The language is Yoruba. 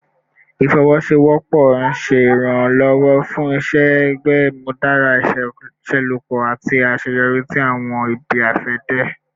Ifowosowopo n ṣe iranlọwọ fun iṣẹ-ẹgbẹ, imudara iṣelọpọ ati aṣeyọri ti awọn ibi-afẹde